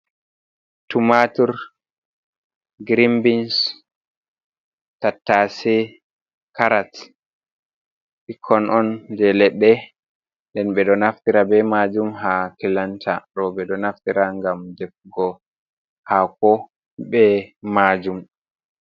Tumaatur, girin-bins, tattaase, karat, ɓikkon on je leɗɗe nden ɓe ɗo naftira be maajum haa kilanta, ɗo ɓe ɗo naftira ngam defugo haako be maajum.